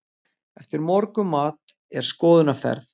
Eftir morgunmat er skoðunarferð.